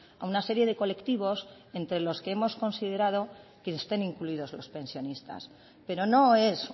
a una serie de colectivos entre los que hemos considerado que estén incluidos los pensionistas pero no es